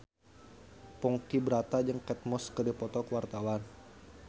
Ponky Brata jeung Kate Moss keur dipoto ku wartawan